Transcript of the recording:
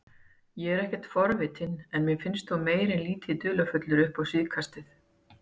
Ég er ekkert forvitinn en mér finnst þú meira en lítið dularfullur upp á síðkastið